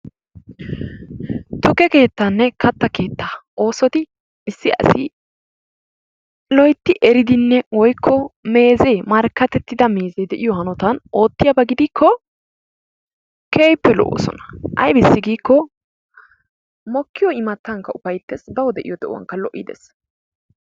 Tukke keettanne katta keettaa oosoti issi asi loytti eridinne woykko meeze marakatettida meeze de'iyo hanotan oottiyaaba gidikko keehippe lo''oosona. aybbissi giiko mokkiyo immatankka upayttees, baw de'iyo de'uwankka lo''i dees.